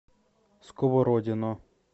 сковородино